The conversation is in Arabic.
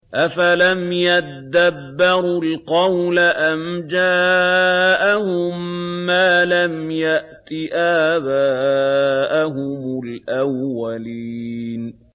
أَفَلَمْ يَدَّبَّرُوا الْقَوْلَ أَمْ جَاءَهُم مَّا لَمْ يَأْتِ آبَاءَهُمُ الْأَوَّلِينَ